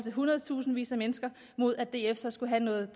hundredtusindvis af mennesker mod at df så skulle have noget